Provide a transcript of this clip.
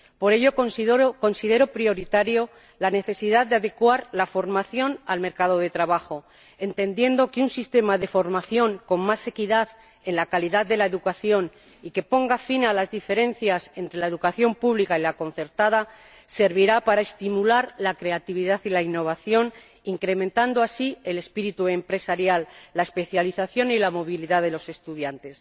Por ello, considero prioritaria la necesidad de adecuar la formación al mercado de trabajo, entendiendo que un sistema de formación con más equidad en la calidad de la educación y que ponga fin a las diferencias entre la educación pública y la concertada servirá para estimular la creatividad y la innovación, incrementando así el espíritu empresarial, la especialización y la movilidad de los estudiantes.